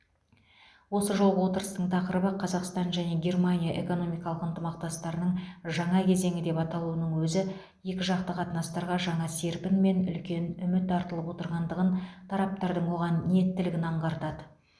осы жолғы отырыстың тақырыбы қазақстан және германия экономикалық ынтымақтастардың жаңа кезеңі деп аталуының өзі екіжақты қатынастарға жаңа серпін мен үлкен үміт артылып отырғандығын тараптардың оған ниеттілігін аңғартады